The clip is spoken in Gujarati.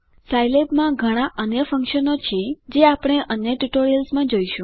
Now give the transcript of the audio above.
સાઈલેબમાં ઘણા અન્ય ફ્નક્શ્ન્સ છે જે આપણે અન્ય સ્પોકન ટ્યુટોરિયલ્સ માં જોશું